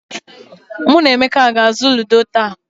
Mụ na Emeka ga-azụ ludo taa.